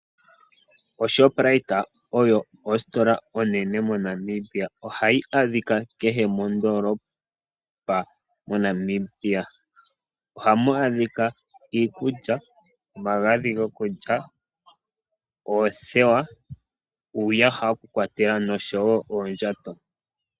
Shoprite oyo ositola onene moNamibia. Ohayi adhika kehe mondoolopa moNamibia. Ohamu adhika iikulya, omagadhi gokulya, oothewa, uuyaha wokukwatela noshowo oondjato.